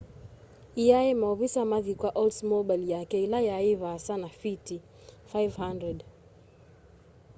eîaîe maovisaa mathi kwa oldsmobile yake ila yai vaasa na fiti 500